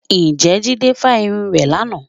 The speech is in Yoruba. Ǹjẹ́ Jídé fa irun rẹ̀ lánàá